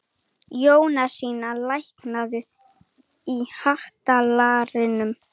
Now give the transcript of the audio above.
Jónasína, lækkaðu í hátalaranum.